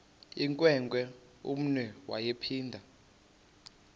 inewenkwe umnwe yaphinda